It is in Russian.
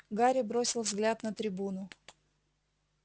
гарри бросил взгляд на трибуну